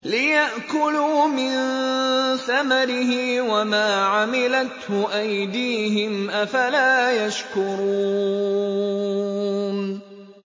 لِيَأْكُلُوا مِن ثَمَرِهِ وَمَا عَمِلَتْهُ أَيْدِيهِمْ ۖ أَفَلَا يَشْكُرُونَ